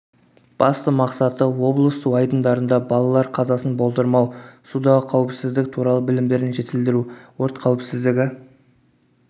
басты мақсаты облыс су айдындарында балалар қазасын болдырмау судағы қауіпсіздік туралы білімдерін жетілдіру өрт қауіпсіздігі